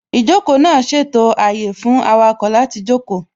Ìjókòó náà ṣètò àyè fún awakọ̀ náà láti jókòó